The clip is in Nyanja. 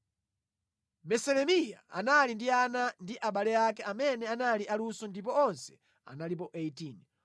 Meselemiya anali ndi ana ndi abale ake amene anali aluso ndipo onse analipo 18.